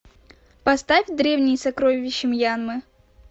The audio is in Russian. поставь древние сокровища мьянмы